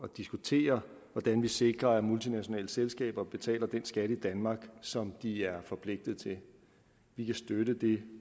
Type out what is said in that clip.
diskutere hvordan vi sikrer at multinationale selskaber betaler den skat i danmark som de er forpligtet til vi kan støtte det